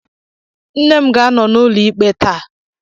Nne m ga-anọ n'ụlọ ikpe taa.